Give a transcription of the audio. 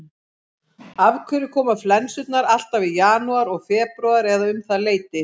Þessi lið hafa mæst þrisvar á leiktíðinni, tvisvar í bikarnum og einu sinni í deildinni.